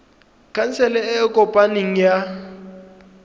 khansele e e kopaneng ya